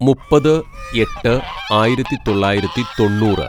"മുപ്പത് എട്ട് ആയിരത്തിതൊള്ളായിരത്തി തൊണ്ണൂറ്‌